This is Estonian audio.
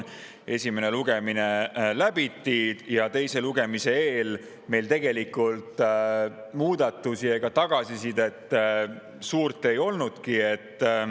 Esimene lugemine läbiti ja teise lugemise eel muudatusi ega tagasisidet suurt ei olnudki.